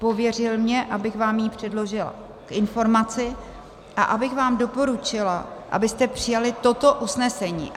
Pověřil mě, abych vám ji předložila k informaci a abych vám doporučila, abyste přijali toto usnesení.